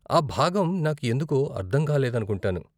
ఆ భాగం నాకు ఎందుకో అర్ధంకాలేదనుకుంటాను.